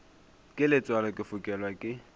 ke letswalo ke fokelwa ke